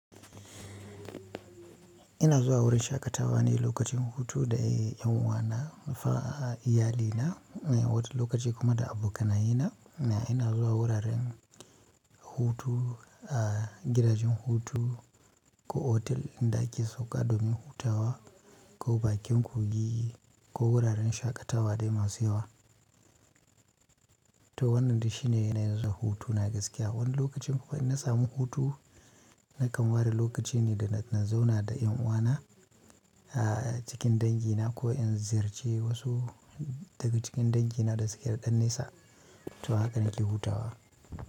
Ina zuwa wurin shaƙatawa ne lokacin hutu da ƴan uwana, na fa iyali na. Wata lokaci kuma da abokanayena, ina zuwa wuraren hutu, gidajen hutu ko otel inda ake sauƙa domin hutawa ko bakin kogi ko wuraren shaƙatawa dai masu yawa. To wannan dai shine yanayin zuwa hutu na gaskiya. Wani lokacin kuma in na samu hutu nakan ware lokaci ne da, na zauna da ƴan uwana cikin dangina ko in ziyarci wasu daga cikin dangina da suke da ɗan nesa. To haka nake hutawa.